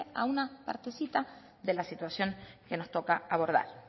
atiende a una partecita de la situación que nos toca abordar